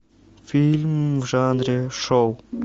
фильм в жанре шоу